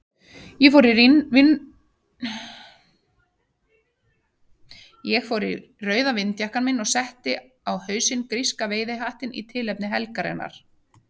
Ég fór í rauða vindjakkann minn og setti á hausinn gríska veiðihattinn í tilefni helgarinnar.